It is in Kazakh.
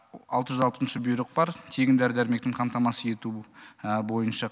алты жүз алтыншы бұйрық бар тегін дәрі дәрмекпен қамтамасыз ету бойынша